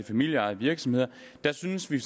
familieejede virksomheder synes vi